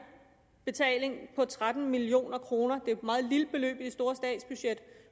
betaling på tretten million kroner det er jo et meget lille beløb i det store statsbudget